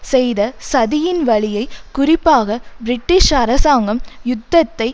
செய்த சதியின் வழியை குறிப்பாக பிரிட்டிஷ் அரசாங்கம் யுத்தத்தை